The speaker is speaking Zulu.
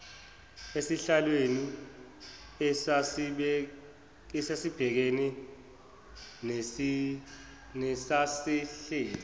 esihlalweni esasibhekene nesasihleli